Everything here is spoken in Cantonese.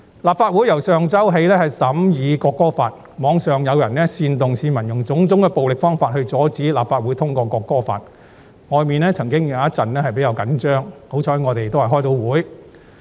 立法會由上周起審議《條例草案》，網上有人煽動市民用種種暴力方法來阻止立法會通過《條例草案》，外面曾出現了一陣子比較緊張的情況，幸好我們能如期開會。